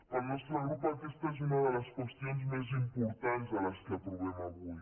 per al nostre grup aquesta és una de les qüestions més importants de les que aprovem avui